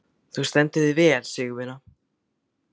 Þú stendur þig vel, Sigurvina!